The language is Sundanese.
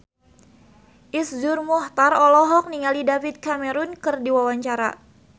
Iszur Muchtar olohok ningali David Cameron keur diwawancara